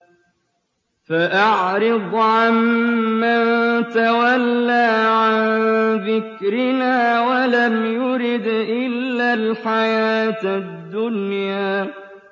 فَأَعْرِضْ عَن مَّن تَوَلَّىٰ عَن ذِكْرِنَا وَلَمْ يُرِدْ إِلَّا الْحَيَاةَ الدُّنْيَا